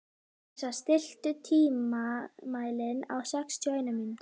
Yrsa, stilltu tímamælinn á sextíu og eina mínútur.